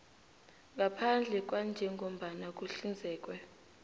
ngaphandle kwanjengombana kuhlinzekwe